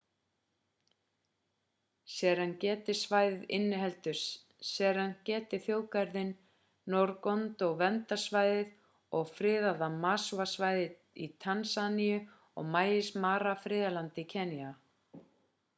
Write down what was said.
serengeti-svæðið inniheldur serengeti-þjóðgarðinn ngorongoro-verndarsvæðið og friðaða maswa-svæðið í tansaníu og maasai mara-friðlandið í kenýa